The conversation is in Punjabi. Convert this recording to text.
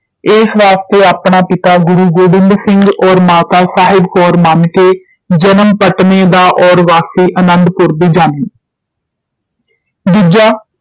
ਏਸ ਵਾਸਤੇ ਆਪਣਾ ਪਿਤਾ ਗੁਰੂ ਗੋਬਿੰਦ ਸਿੰਘ ਔਰ ਮਾਤਾ ਸਾਹਿਬ ਕੌਰ ਮੰਨ ਕੇ ਜਨਮ ਪਟਨੇ ਦਾ ਔਰ ਵਾਸੀ ਅਨੰਦ- ਪੁਰ ਦੀ ਜਾਣਨੀ ਦੂਜਾ